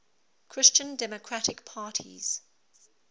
christian democratic parties